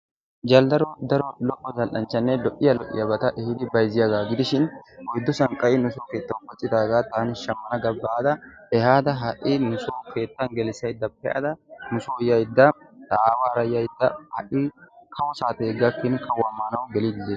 Jaldaro daro lo'o zal'anchchane lo'iya lo'iyabata ehidi bayzziyaga gidishin oyddu sanqqay metuwawu keettawu mattidaga tani shammana ga baada ehada hai nuso keettan gelisayda peada nuso yayda ta aawara yayda hai kawo saate gakin kawuwa maanawu gellidi deetees.